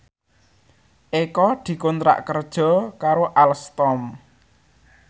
Eko dikontrak kerja karo Alstom